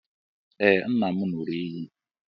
Ee, nna m ṅụrụ iyi.